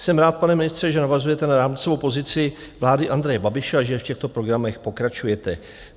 Jsem rád, pane ministře, že navazujete na rámcovou pozici vlády Andreje Babiše a že v těchto programech pokračujete.